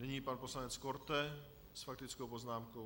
Nyní pan poslanec Korte s faktickou poznámkou.